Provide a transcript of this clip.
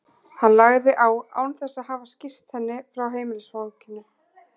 Hann lagði á án þess að hafa skýrt henni frá heimilisfanginu.